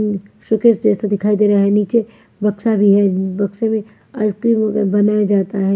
Suitcase जैसा दिखाई दे रहा है नीचे बक्सा भी है बक्से में आइसक्रीम बनाया जाता है।